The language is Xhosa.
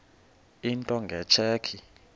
into nge tsheki